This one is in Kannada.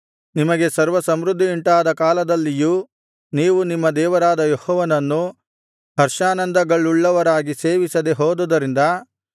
ನಿಮಗೆ ಸರ್ವಸಮೃದ್ಧಿಯುಂಟಾದ ಕಾಲದಲ್ಲಿಯೂ ನೀವು ನಿಮ್ಮ ದೇವರಾದ ಯೆಹೋವನನ್ನು ಹರ್ಷಾನಂದಗಳುಳ್ಳವರಾಗಿ ಸೇವಿಸದೆ ಹೋದುದರಿಂದ